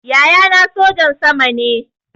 Yaya na sojan sama ne